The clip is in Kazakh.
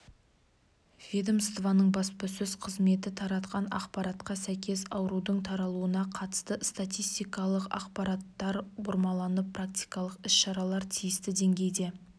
ведомствоның баспасөз қызметі таратқан ақпаратқа сәйкес аурудың таралуына қатысты статистикалық ақпараттар бұрмаланып профилактикалық іс-шаралар тиісті деңгейде